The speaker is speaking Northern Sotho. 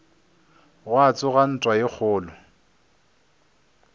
gwa tsoga ntwa ye kgolo